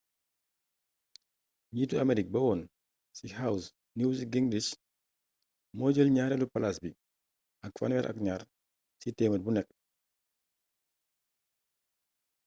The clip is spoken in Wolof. njiitu amerique ba woon ci house newt gingrich moo jël ñaareelu palaas bi ak 32%